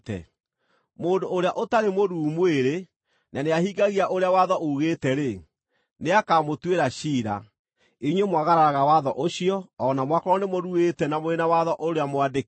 Mũndũ ũrĩa ũtarĩ mũruu mwĩrĩ na nĩahingagia ũrĩa watho uugĩte-rĩ, nĩakamũtuĩra ciira, inyuĩ mwagararaga watho ũcio o na mwakorwo nĩmũruĩte na mũrĩ na watho ũrĩa mwandĩke.